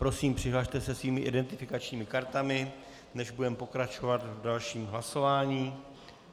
Prosím, přihlaste se svými identifikačními kartami, než budeme pokračovat v dalším hlasování.